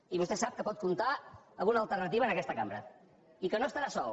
i vostè sap que pot comptar amb una alternativa en aquesta cambra i que no estarà sol